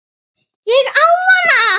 Ég á hana!